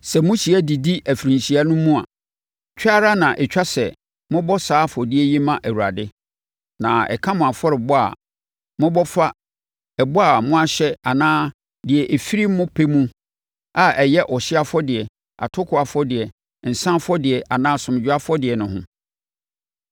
“ ‘Sɛ mohyia didi afirinhyia no mu a, twa ara na ɛtwa sɛ mobɔ saa afɔdeɛ yi ma Awurade. Na ɛka mo afɔrebɔ a mobɔ fa ɛbɔ a moahyɛ anaa deɛ ɛfiri mo pɛ mu a ɛyɛ ɔhyeɛ afɔdeɛ, atokoɔ afɔdeɛ, nsã afɔdeɛ anaa asomdwoeɛ afɔdeɛ no ho.’ ”